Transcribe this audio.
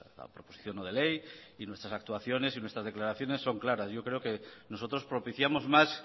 la proposición no de ley y nuestras actuaciones y nuestras declaraciones son claras yo creo que nosotros propiciamos más